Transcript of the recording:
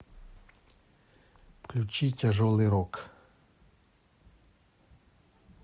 включи тяжелый рок